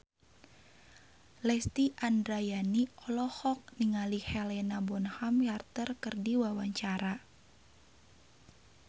Lesti Andryani olohok ningali Helena Bonham Carter keur diwawancara